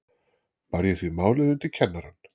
Bar ég því málið undir kennarann.